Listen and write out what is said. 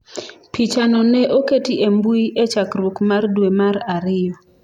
Pichano ne oketi e mbui e chakruok mar dwe mar ariyo.